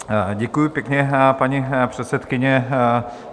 Děkuji pěkně, paní předsedkyně.